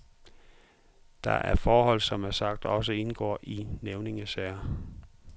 Det er forhold, der som sagt også indgår i nævningesagen.